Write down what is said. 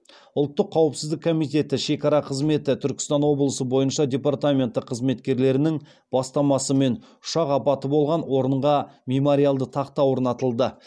ұлттық қауіпсіздік комитеті шекара қызметі түркістан облысы бойынша департаменті қызметкерлерінің бастамасымен ұшақ апаты болған орынға мемориалды тақта орнатылды